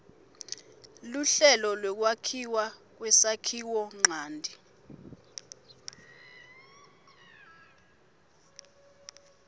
luhlelo lwekwakhiwa kwesakhiwonchanti